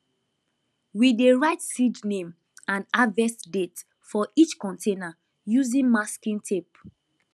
we dey write seed name and harvest date for each container using masking tape